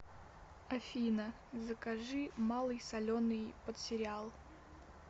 афина закажи малый соленый под сериал